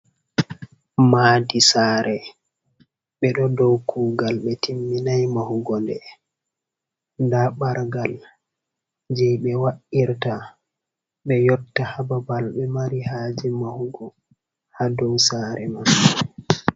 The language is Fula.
Madi sare bé ɗo dow kugal be timminai mahugo déh, ɗa ɓargal je bé wa’irta ɓe yotta ha babɓal ɓe mari haje mahugo ha ɗow sare man.